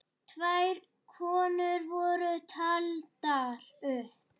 Tvær konur voru taldar upp.